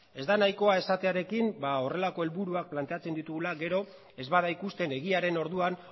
ez da nahikoa esatearekin horrelako helburuak planteatzen ditugula gero ez bada ikusten egiaren orduan